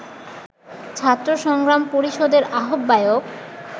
ছাত্র সংগ্রাম পরিষদের আহ্বায়ক